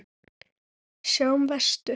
Sjáum vestur.